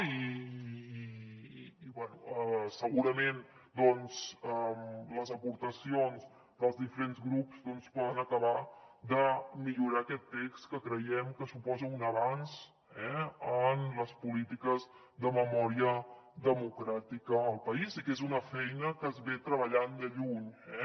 i bé segurament doncs les aportacions dels diferents grups poden acabar de millorar aquest text que creiem que suposa un avenç en les polítiques de memòria democràtica al país i que és una feina que s’està treballant de fa temps